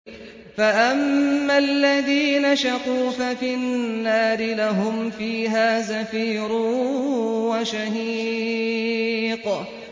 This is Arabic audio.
فَأَمَّا الَّذِينَ شَقُوا فَفِي النَّارِ لَهُمْ فِيهَا زَفِيرٌ وَشَهِيقٌ